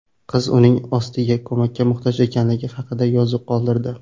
Qiz uning ostiga ko‘makka muhtoj ekanligi haqida yozuv qoldirdi.